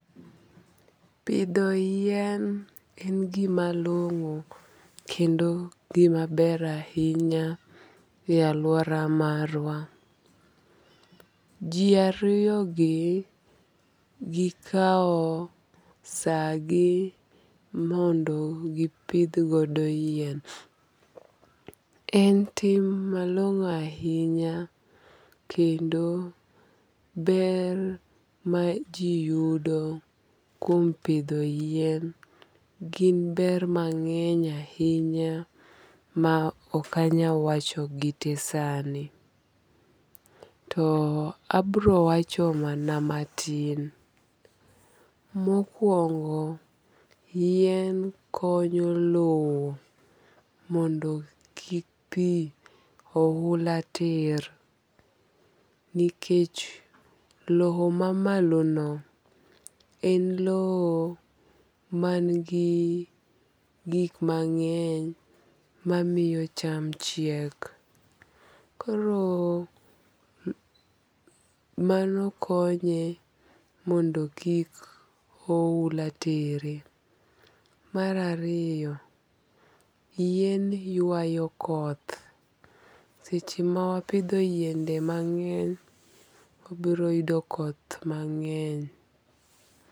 Pidho yien en gima long'o kendo gima ber ahinya e aluora marwa. Ji ariyo gi gikaw sa gi mondo gipidh godo yien. En tim malong'o ahinya kendo ber ma ji yudo kuom pidh yien gin ber mang'eny ahinya ma ok anyal wacho gite sani. To abiro wacho mana matin. Mokuongo yien konyo low mondo kik pi oula ter. Nikech low mamalo no en low man gi gik mang'eny mamiyo cham chiek. Koro mano konye mondo kik oula tere. Mar ariyo, yien ywayo koth. Seche ma wapidho yiende mang'eny, wabiro yudo koth mang'eny.